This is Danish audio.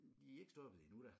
Det er ikke stoppet endnu da